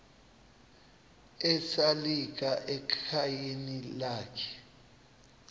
esalika ekhayeni lakhe